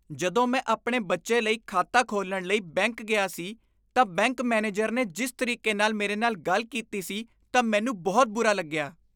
ਜਦੋਂ ਮੈਂ ਆਪਣੇ ਬੱਚੇ ਲਈ ਖਾਤਾ ਖੋਲ੍ਹਣ ਲਈ ਬੈਂਕ ਗਿਆ ਸੀ ਤਾਂ ਬੈਂਕ ਮੈਨੇਜਰ ਨੇ ਜਿਸ ਤਰੀਕੇ ਮੇਰੇ ਨਾਲ ਗੱਲ ਕੀਤੀ ਸੀ ਤਾਂ ਮੈਨੂੰ ਬਹੁਤ ਬੁਰਾ ਲੱਗਿਆ।